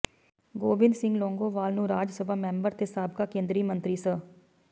ਗੋਬਿੰਦ ਸਿੰਘ ਲੌਂਗੋਵਾਲ ਨੂੰ ਰਾਜ ਸਭਾ ਮੈਂਬਰ ਤੇ ਸਾਬਕਾ ਕੇਂਦਰੀ ਮੰਤਰੀ ਸ